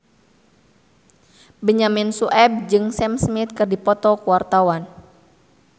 Benyamin Sueb jeung Sam Smith keur dipoto ku wartawan